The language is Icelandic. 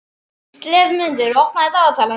slefmundur, opnaðu dagatalið mitt.